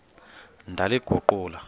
ndaliguqula